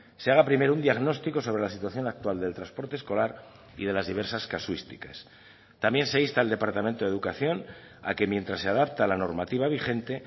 se haga primero un diagnóstico sobre la situación actual del transporte escolar y de las diversas casuísticas también se insta al departamento de educación a que mientras se adapta la normativa vigente